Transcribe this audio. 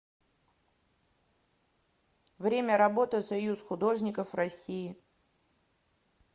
время работы союз художников россии